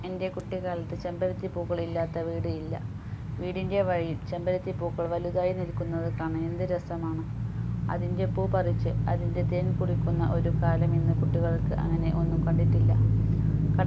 എൻ്റെ കുട്ടിക്കാലത്തു ചെമ്പരത്തി പൂക്കൾ ഇല്ലാത്ത വീട് ഇല്ല വീടിൻ്റെ വഴിയിൽ ചെമ്പരത്തി പൂക്കൾ വലുതായി നിൽക്കുന്നത് കാണാൻ എന്ത് രസം ആണ് അതിൻ്റെ പൂ പറിച്ചു അതിന്റെ തേൻ കുടിക്കുന്ന ഒരു കാലം ഇന്ന് കുട്ടികൾ അങ്ങനെ ഒന്നും കണ്ടിട്ടില്ല